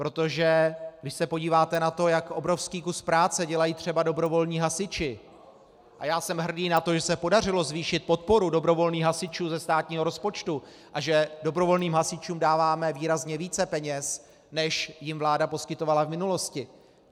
Protože když se podíváte na to, jak obrovský kus práce dělají třeba dobrovolní hasiči, a já jsem hrdý na to, že se podařilo zvýšit podporu dobrovolných hasičů ze státního rozpočtu a že dobrovolným hasičům dáváme výrazně více peněz, než jim vláda poskytovala v minulosti.